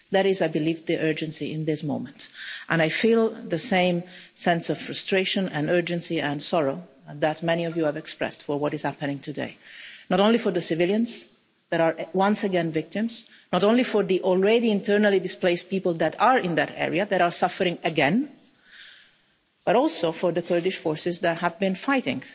That is, I believe, the urgency at the moment, and I feel the same sense of frustration, urgency and sorrow that many of you have expressed about what is happening today not only for the civilians who once again are victims, not only for the already internally displaced people in that area who are suffering again, but also for the Kurdish forces who have been fighting